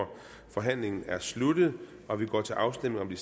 forhandlingen er sluttet og vi går til afstemning om de